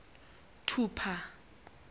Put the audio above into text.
thupha